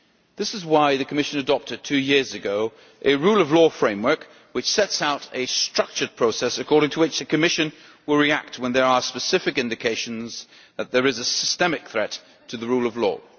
That is why the Commission, two years ago, adopted a Rule of Law Framework setting out a structured process according to which the Commission will react when there are specific indications that there is a systemic threat to the rule of law.